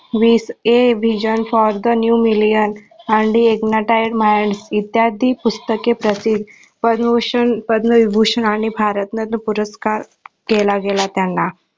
वीस A Vision for the new Million and IGNITED MINDS इत्यादी पुस्तके प्रसिद्ध पद्मभूषण, पद्मविभूषण, आणि भारतरत्न पुरस्कार केला गेला त्यांना